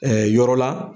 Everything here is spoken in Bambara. yɔrɔ la